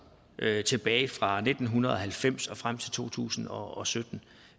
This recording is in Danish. tilbage fra nitten halvfems og frem til to tusind og sytten